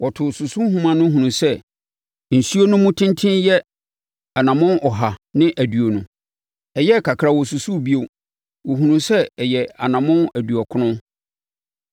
Wɔtoo susuhoma hunuu sɛ nsuo no mu tenten yɛ anammɔn ɔha ne aduonu. Ɛyɛɛ kakra a wɔsusuu bio no, wɔhunuu sɛ ɛyɛ anammɔn aduɔkron.